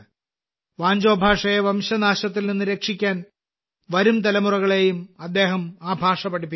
വാഞ്ചോ ഭാഷയെ വംശനാശത്തിൽ നിന്ന് രക്ഷിക്കാൻ വരും തലമുറകളെയും അദ്ദേഹം ആ ഭാഷ പഠിപ്പിക്കുന്നു